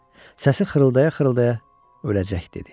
Səsi xırıldaya-xırıldaya öləcək dedi.